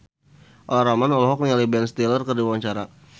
Olla Ramlan olohok ningali Ben Stiller keur diwawancara